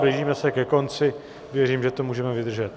Blížíme se ke konci, věřím, že to můžeme vydržet.